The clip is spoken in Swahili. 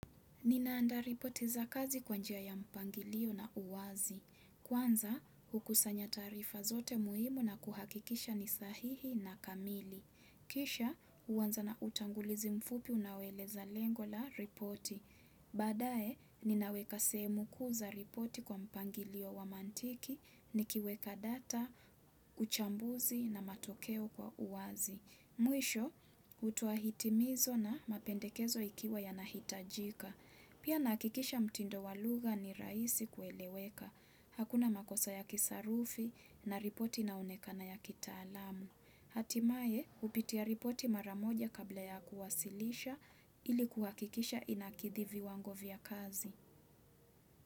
Ninaandaa ripoti za kazi kwa njia ya mpangilio na uwazi. Kwanza, hukusanya taarifa zote muhimu na kuhakikisha ni sahihi na kamili. Kisha, huanza na utangulizi mfupi unaoeleza lengo la ripoti. Baadaye, ninaweka sehemu kuu za ripoti kwa mpangilio wa mantiki, nikiweka data, uchambuzi na matokeo kwa uwazi. Mwisho, hutoa hitimizo na mapendekezo ikiwa yanahitajika. Pia nahakikisha mtindo wa lugha ni rahisi kueleweka. Hakuna makosa ya kisarufi na ripoti inaonekana ya kitaalamu. Hatimaye, hupitia ripoti mara moja kabla ya kuwasilisha ili kuhakikisha inakidhi viwango vya kazi.